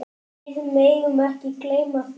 Við megum ekki gleyma því.